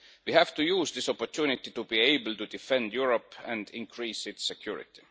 We have to use this opportunity to be able to defend Europe and increase its security.